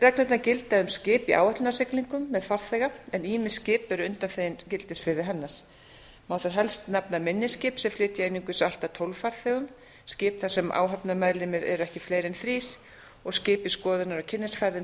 reglurnar gilda um skip í áætlunarsiglingum með farþega en ýmis skip eru undanþegin gildissviði hennar má þar helst nefna minni skip sem flytja einungis allt að tólf farþegum skip þar sem áhafnarmeðlimir eru ekki fleiri en þrír og skip í skoðunar og kynnisferðum